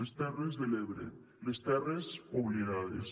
les terres de l’ebre les terres oblidades